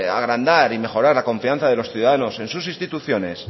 agrandar y mejorar la confianza de los ciudadanos en sus instituciones